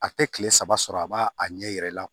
A tɛ kile saba sɔrɔ a b'a a ɲɛ yɛrɛ la